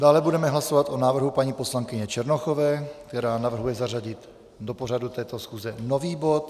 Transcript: Dále budeme hlasovat o návrhu paní poslankyně Černochové, která navrhuje zařadit do pořadu této schůze nový bod.